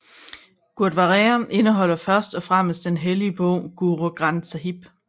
Gurdwaraer indeholder først og fremmest den hellige bog Guru Granth Sáhib